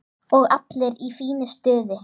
Og allir í fínu stuði.